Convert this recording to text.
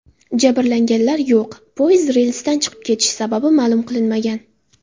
Jabrlanganlar yo‘q, poyezd relsdan chiqib ketishi sababi ma’lum qilinmagan.